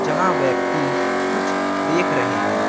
जहां व्यक्ति कुछ देख रहे हैं।